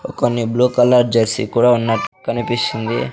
కొన్ని blue colour jersey కూడా ఉన్నట్టు కనిపిస్తుంది.